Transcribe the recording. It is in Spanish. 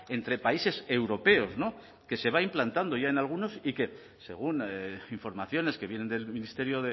entre países europeos que se va implantando ya en algunos y que según informaciones que vienen del ministerio